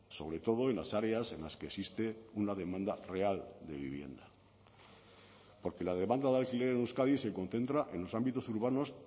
sobre todo en las áreas en las que existe una demanda real de vivienda porque la demanda de alquiler en euskadi se concentra en los ámbitos urbanos